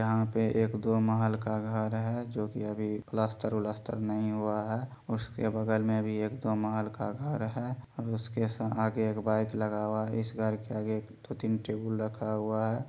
यहाँ पे एक दो महल का घर है जो की अभी प्लास्टर उलास्टर नहीं हुआ है उसके बगल में भी एक दो महल का घर है और उसके सा आगे एक बाइक लगा हुआ इस घर के आगे दो तीन टेगुल रखा हुआ है।